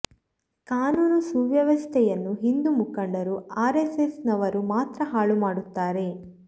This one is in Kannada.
ಕಾನೂನು ಸುವ್ಯವಸ್ಥೆಯನ್ನು ಹಿಂದೂ ಮುಖಂಡರು ಆರ್ ಎಸ್ಎಸ್ ನವರು ಮಾತ್ರ ಹಾಳು ಮಾಡುತ್ತಾರೆ